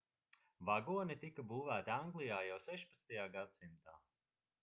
vagoni tika būvēti anglijā jau 16. gadsimtā